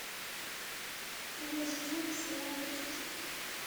второй сезон сериал вечность